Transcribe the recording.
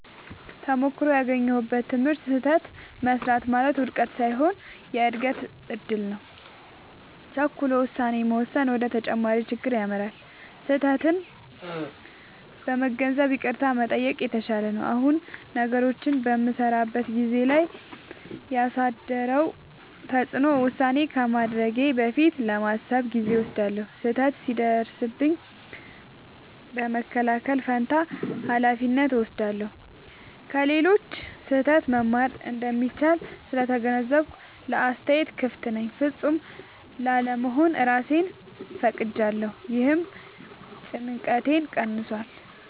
ተሞክሮው ያገኘሁት ትምህርት፦ · ስህተት መሥራት ማለት ውድቀት ሳይሆን የእድገት እድል ነው። · ቸኩሎ ውሳኔ መወሰን ወደ ተጨማሪ ችግር ይመራል። · ስህተቴን በመገንዘብ ይቅርታ መጠየቅ የተሻለ ነው። አሁን ነገሮችን በምሠራበት ሁኔታ ላይ ያሳደረው ተጽዕኖ፦ · ውሳኔ ከማድረጌ በፊት ለማሰብ ጊዜ እወስዳለሁ። · ስህተት ሲደርስብኝ በመከላከል ፋንታ ኃላፊነት እወስዳለሁ። · ከሌሎች ስህተት መማር እንደሚቻል ስለተገነዘብኩ ለአስተያየት ክፍት ነኝ። · ፍጹም ላለመሆን እራሴን ፈቅጄለታለሁ — ይህም ጭንቀቴን ቀንሷል።